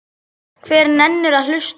Hver nennir að hlusta á.